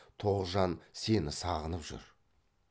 тоғжан сені сағынып жүр